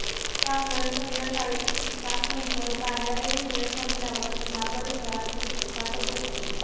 त्यामुळे संध्याकाळी सातनंतर कार्यालयीन वेळ संपल्यावर या परिसरात शुकशुकाटच असतो